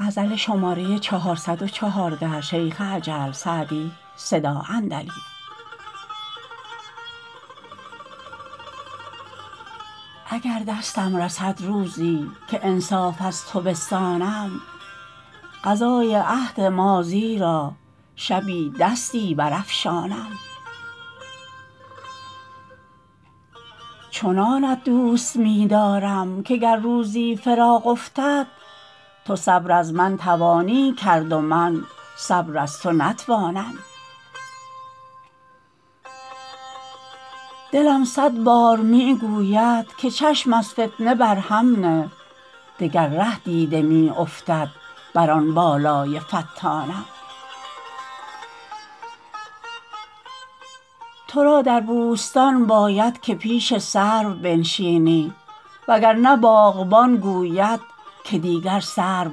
اگر دستم رسد روزی که انصاف از تو بستانم قضای عهد ماضی را شبی دستی برافشانم چنانت دوست می دارم که گر روزی فراق افتد تو صبر از من توانی کرد و من صبر از تو نتوانم دلم صد بار می گوید که چشم از فتنه بر هم نه دگر ره دیده می افتد بر آن بالای فتانم تو را در بوستان باید که پیش سرو بنشینی وگرنه باغبان گوید که دیگر سرو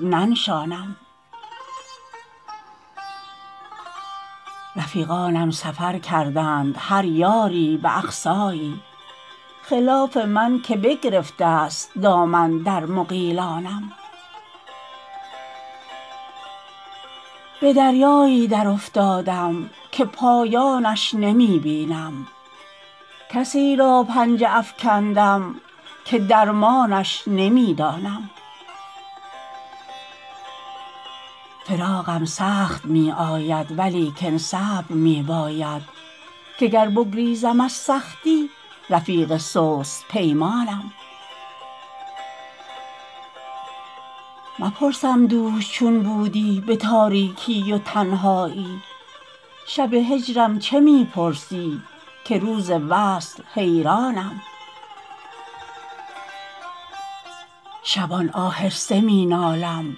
ننشانم رفیقانم سفر کردند هر یاری به اقصایی خلاف من که بگرفته است دامن در مغیلانم به دریایی درافتادم که پایانش نمی بینم کسی را پنجه افکندم که درمانش نمی دانم فراقم سخت می آید ولیکن صبر می باید که گر بگریزم از سختی رفیق سست پیمانم مپرسم دوش چون بودی به تاریکی و تنهایی شب هجرم چه می پرسی که روز وصل حیرانم شبان آهسته می نالم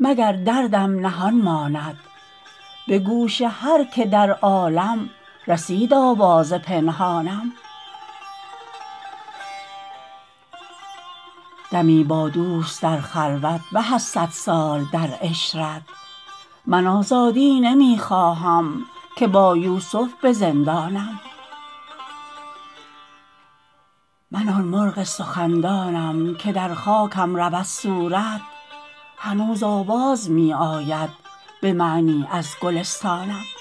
مگر دردم نهان ماند به گوش هر که در عالم رسید آواز پنهانم دمی با دوست در خلوت به از صد سال در عشرت من آزادی نمی خواهم که با یوسف به زندانم من آن مرغ سخندانم که در خاکم رود صورت هنوز آواز می آید به معنی از گلستانم